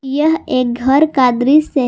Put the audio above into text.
यह एक घर का दृश्य है।